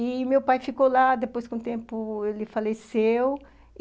E meu pai ficou lá, depois, com o tempo, ele faleceu.